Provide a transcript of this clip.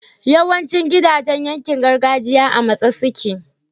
yawancin gidajan yankin gargajiya a matse suke